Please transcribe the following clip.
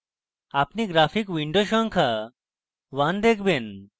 আপনি graphic window সংখ্যা 1 দেখবেন